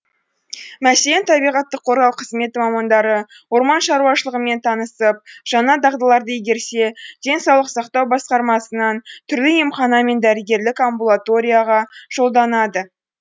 мәселен табиғатты қорғау қызметі мамандары орман шаруашылығымен танысып жаңа дағдыларды игерсе денсаулық сақтау басқармасынан түрлі емхана мен дәрігерлік амбулаторияға жолданады